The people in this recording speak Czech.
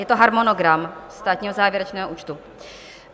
Je to harmonogram Státního závěrečného účtu.